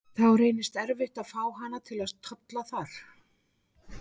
Þá reynist erfitt að fá hana til að tolla þar.